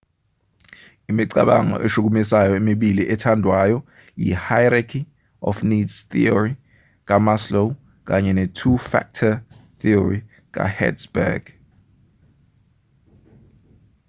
imicabango eshukumisayo emibili ethandwayo yihierarchy of needs theory kamaslow kanye netwo factor theory kahertzberg